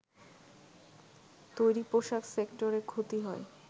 তৈরি পোশাক সেক্টরে ক্ষতি হয়